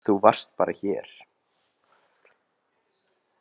Þú varst bara hér.